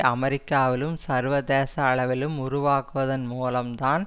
அமெரிக்காவிலும் சர்வதேச அளவிலும் உருவாக்குவதன் மூலம் தான்